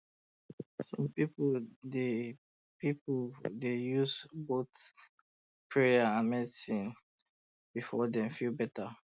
some people um dey people um dey use both prayer and medicine before dem feel better um